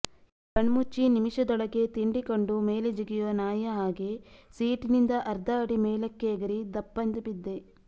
ಕಣ್ಮುಚ್ಚಿ ನಿಮಿಷದೊಳಗೆ ತಿಂಡಿ ಕಂಡು ಮೇಲೆ ಜಿಗಿಯೋ ನಾಯಿಯ ಹಾಗೇ ಸೀಟಿನಿಂದ ಅರ್ಧ ಅಡಿ ಮೇಲಕ್ಕೆ ಎಗರಿ ಧಪ್ಪೆಂದು ಬಿದ್ದೆ